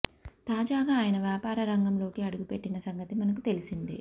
తాజాగా అయన వ్యాపార రంగంలోకి అడుగు పెట్టిన సంగతి మనకు తెలిసిందే